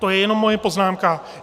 To je jenom moje poznámka.